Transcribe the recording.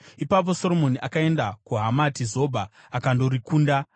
Ipapo Soromoni akaenda kuHamati Zobha, akandorikunda.